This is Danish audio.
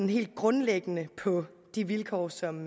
helt grundlæggende på de vilkår som